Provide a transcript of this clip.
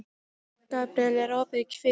Gabríella, er opið í Kvikk?